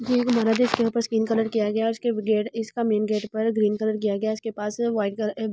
Gate इसके ऊपर skin colour किया गया है और इसके गेट इसका मेन गेट पर ग्रीन कलर किया गया है इसके पास व्हाइट कलर रेड ।